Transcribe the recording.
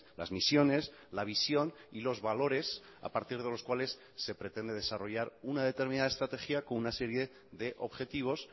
las misiones la visión y los valores a partir de los cuales se pretende desarrollar una determinada estrategia con una serie de objetivos